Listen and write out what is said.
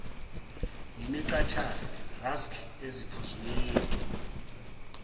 nemiqhathane rusks eziphuzweni